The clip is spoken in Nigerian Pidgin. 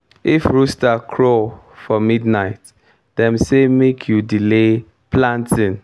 if rooster crow for midnight dem say make you delay planting.